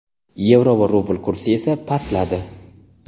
yevro va rubl kursi esa pastladi.